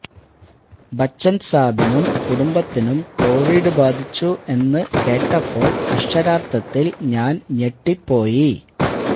ബച്ചന് സാബിനും കുടുംബത്തിനും കോവിഡ് ബാധിച്ചു എന്നു കേട്ടപ്പോള് അക്ഷരാര്ഥത്തില് ഞാന് ഞെട്ടിപ്പോയി